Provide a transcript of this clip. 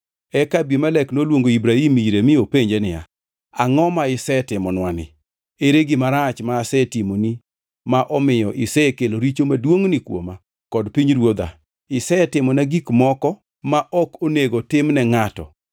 Eka Abimelek noluongo Ibrahim ire mi openje niya, “Angʼo ma isetimonwani? Ere gima rach ma asetimoni ma omiyo isekelo richo maduongʼni kuoma kod pinyruodha? Isetimona gik moko ma ok onego tim ne ngʼato.”